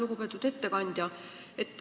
Lugupeetud ettekandja!